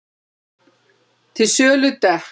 Til sölu dekk